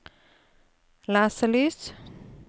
leselys